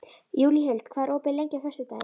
Júlíhuld, hvað er opið lengi á föstudaginn?